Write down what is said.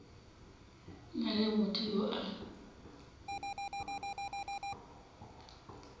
na le motho yo a